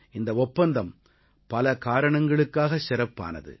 இந்த ஒப்பந்தம் பல காரணங்களுக்காகச் சிறப்பானது